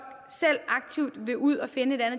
selv aktivt vil ud og finde et